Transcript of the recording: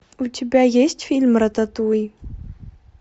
у тебя есть фильм рататуй